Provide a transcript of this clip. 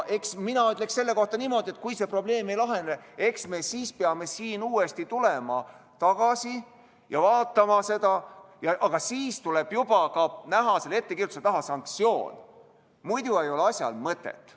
Mina ütleksin selle kohta niimoodi, et kui see probleem ei lahene, eks me siis peame uuesti tulema tagasi ja seda vaatama, aga siis tuleb juba ka näha selle ettekirjutuse juurde ette sanktsioon, muidu ei ole asjal mõtet.